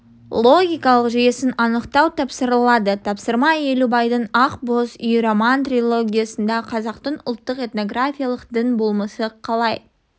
логикалық жүйесін анықтау тапсырылады тапсырма елубайдың ақ боз үй роман-трилогиясында қазақтың ұлттық этнографиялық дін болмысы қалай